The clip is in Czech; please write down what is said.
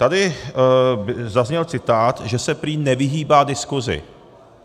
Tady zazněl citát, že se prý nevyhýbá diskusi.